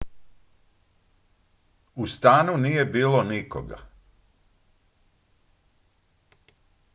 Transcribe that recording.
u stanu nije bilo nikoga